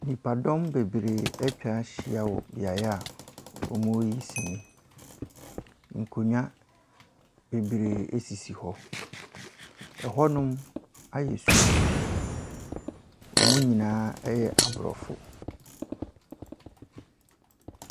Nnipadɔm bebree atwa ahyia wɔ beaeɛ a wɔreyi sini. Nkonnwa bebree sisi hɔ. Hɔnom ayɛ sum, wɔn nyinaa yɛ aborɔfo.